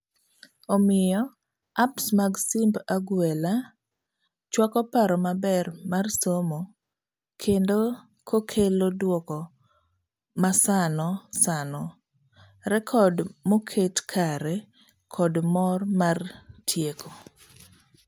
Omiyo, apps mag simb agwela chwako paro maber mar somo kendo kokelo duoko masano sano, rekod moket kare kod mor mar tieko.